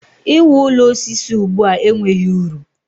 I wu ụlọ osisi ugbua enweghị uru.